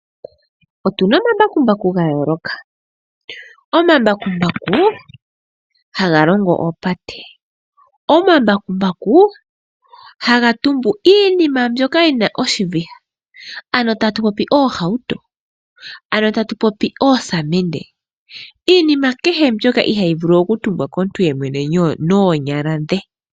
Otuna omambakumbaku ga yooloka. Omambakumbaku haga longo oopate, omambakumbaku haga tumbu iinima mbyoka yina oshiviha ano tatu popi oohauto, ano tatu popi oosamende iinima kehe mbyoka ihaayi vulu okutumbwa komuntu noonyala dhe.